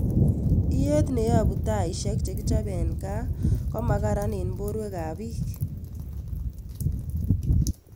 Iyeet neyopu taishek chekichope en kaa komagaran en porweek ak biik